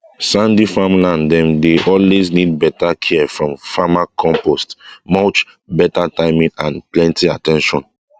sandy farmland dem dey always need better care from farmercompost mulch better timing and plenty at ten tion